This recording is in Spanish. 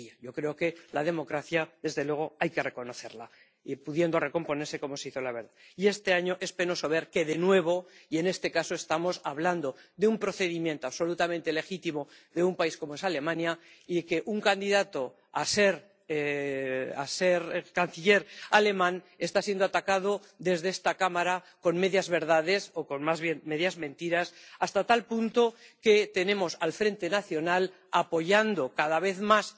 Creo que la democracia, desde luego, hay que reconocerla y, pudiendo, recomponerse como se hizo, la verdad. Y este año es penoso ver que, de nuevo, y en este caso estamos hablando de un procedimiento absolutamente legítimo de un país como es Alemania, un candidato a ser canciller alemán está siendo atacado desde esta Cámara con medias verdades o con más bien medias mentiras hasta tal punto que tenemos al Frente Nacional apoyando cada vez más.